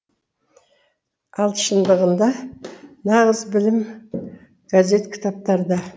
ал шындығында нағыз білім газет кітаптарда